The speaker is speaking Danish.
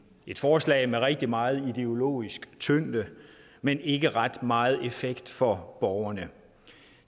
et forslag med rigtig meget ideologisk tyngde men ikke ret meget effekt for borgerne